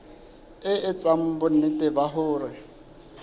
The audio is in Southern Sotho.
e etsa bonnete ba hore